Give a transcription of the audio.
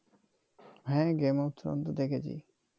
হ্যাঁ game of throne তো দেখেছি